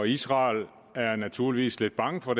israel er naturligvis lidt bange for